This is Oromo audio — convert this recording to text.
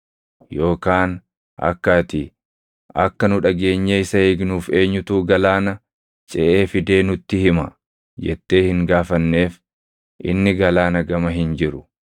Yookaan akka ati, “Akka nu dhageenyee isa eegnuuf eenyutu galaana ceʼee fidee nutti hima?” jettee hin gaafanneef inni galaana gama hin jiru.